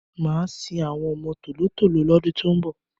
Màá sin àwọn ọmọ tòló-tòló lọ́dún tí ń bọ̀.